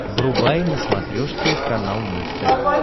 врубай на смотрешке канал муз тв